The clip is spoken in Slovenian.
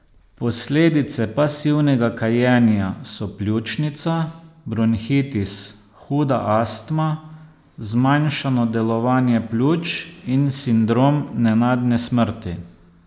Posledice pasivnega kajenja so pljučnica, bronhitis, huda astma, zmanjšano delovanje pljuč in sindrom nenadne smrti.